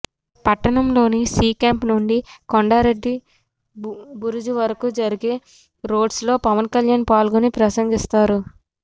పట్టణంలోని C camp నుండి కొండారెడ్డి బురుజు వరకూ జరిగే రోడ్షోలో పవన్ కళ్యాణ్ పాల్గొని ప్రసంగిస్తారు